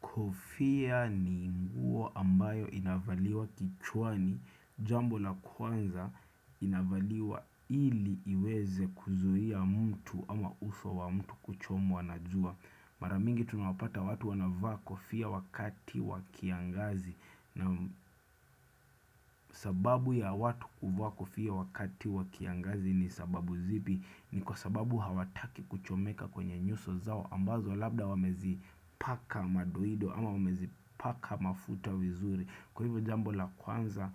Kofia ni nguo ambayo inavaliwa kichwani jambo la kwanza inavaliwa ili iweze kuizuia mtu ama uso wa mtu kuchomwa na jua. Maramingi tunapata watu wanavako fia wakati wa kiangazi na sababu ya watu kuvaa kofia wakati wa kiangazi ni sababu zipi ni kwa sababu hawataki kuchomeka kwenye nyuso zao. Ambazo labda wamezipaka madoido ama wamezi paka mafuta vizuri Kwa hivyo jambo la kwanza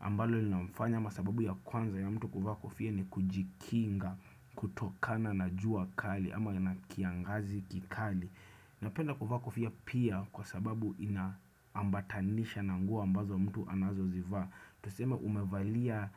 ambalo linafanya ama sababu ya kwanza ya mtu kuvaa kofia ni kujikinga kutokana na jua kali ama ina kiangazi kikali Napenda kuvaa kofia pia kwa sababu inaambatanisha na nguo ambazo mtu anazozivaa tuseme umevalia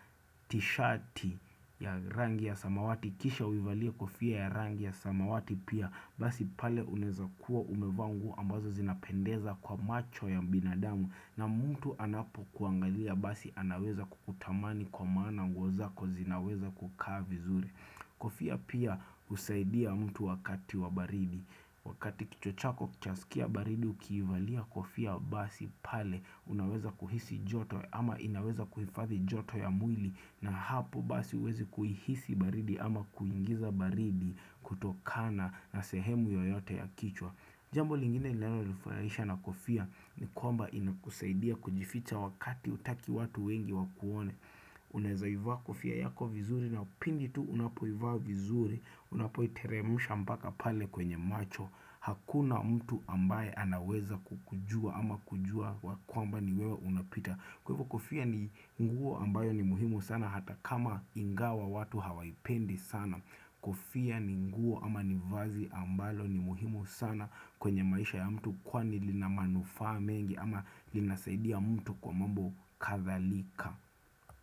tishati ya rangi ya samawati Kisha uivalia kofia ya rangi ya samawati pia Basi pale unaweza kuwa umevaa ambazo zinapendeza kwa macho ya binadamu na mtu anapokuangalia basi anaweza kukutamani kwa maana nguo zako zinaweza kukaa vizuri Kofia pia husaidia mtu wakati wa baridi Wakati kichwa chako chaskia baridi ukiivalia kofia basi pale unaweza kuhisi joto ama inaweza kuhifadhi joto ya mwili na hapo basi huwezi kuihisi baridi ama kuingiza baridi kutokana na sehemu yoyote ya kichwa Jambo lingine linalo nifurahisha na kofia ni kwamba inakusaidia kujificha wakati hutaki watu wengi wakuone Unaezaivaa kofia yako vizuri na pindi tu unapoivaa vizuri Unapoiteremusha mpaka pale kwenye macho Hakuna mtu ambaye anaweza kukujua ama kujua wa kwamba ni wewa unapita kwa hivo Kofia ni nguo ambayo ni muhimu sana hata kama ingawa watu hawaipendi sana. Kofia ni nguo ama ni vazi ambalo ni muhimu sana kwenye maisha ya mtu kwani lina manufaa mengi ama linasaidia mtu kwa mambo kadhalika.